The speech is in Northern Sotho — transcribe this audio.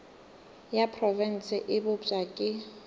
ya profense e bopša ke